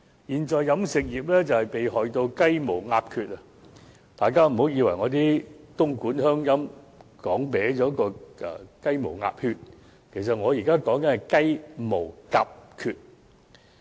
現在飲食業被害到"雞毛鴿缺"，大家不要以為我因東莞鄉音而把"雞毛鴨血"說錯了，其實我現在說的是"雞毛鴿缺"。